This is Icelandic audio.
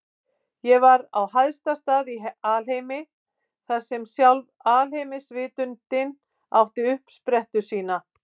Ég var á hæsta stað í alheimi, þar sem sjálf alheimsvitundin átti uppsprettu sína.